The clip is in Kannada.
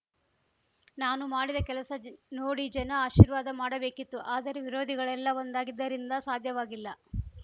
ನಾನು ಮಾಡಿದ ಕೆಲಸ ನೋಡಿ ಜನ ಆಶೀರ್ವಾದ ಮಾಡಬೇಕಿತ್ತು ಆದರೆ ವಿರೋಧಿಗಳೆಲ್ಲ ಒಂದಾಗಿದ್ದರಿಂದ ಸಾಧ್ಯವಾಗಿಲ್ಲ